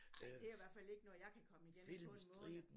Ej det i hvert fald ikke noget jeg kan komme igennem på en måned